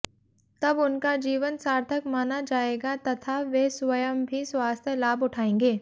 तब उनका जीवन सार्थक माना जाएगा तथा वे स्वंय भी स्वास्थ्य लाभ उठाएंगे